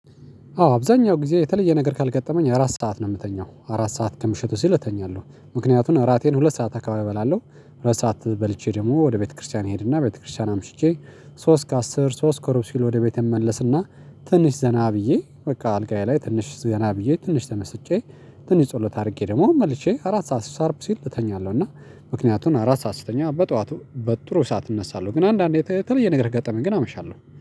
አዎ አብዛኛው ጊዜ የተለየ ነገር ካልገጠመኝ አራት ሰዓት ነው የምተኛው አራት ሰዓት ከምሽቱ ሲል እተኛለሁ ምክንያቱም እራቴን ሁለት ሰዓት አካባቢ እበላለሁ ሁለት ሰዓት በልቼ ደግሞ ወደ ቤተክርስቲያን እሄድና ቤተክርስቲያን አምሽቼ ሶስት ከአስር ሶስት ከሩብ ሲል ወደ ቤት እመለስና ትንሽ ዘና ብዬ በቃ አልጋዬ ላይ ትንሽ ዘና ብዬ ትንሽ ተመስጬ ትንሽ ጸሎት አድርጌ ደግሞ መልሼ አራት ሰዓት ስታርብ ሲል እተኛለሁ። እና ምክንያቱን አራት ሰዓት ስተኛ በጠዋቱ በጥሩ ሰዓት እነሳለሁ። ግን አንዳንዴ ተለየ ነገር ገጠመኝ ግን አመሻለሁ